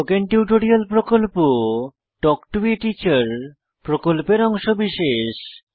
spoken tutorial প্রকল্প talk to a teacher প্রকল্পের অংশবিশেষ